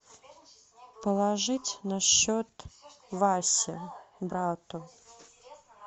положить на счет васе брату